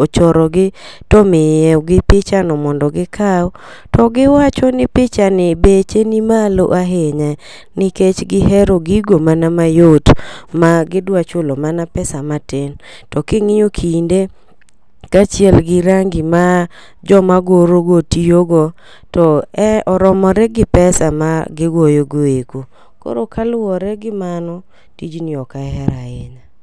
ochoro gi to miyo go picha no mondo gikaw to giwacho ni picha ni beche ni molo ahinya nikech gihero gigo mana mayot ma gidwa chulo mana pesa matin. To king'iyo kinde kaachiel gi rangi majoma goro go tiyogo to e romore gi pesa ma gigoyo go eko koro kaluwore gi mano tijni ok ahero ahinya.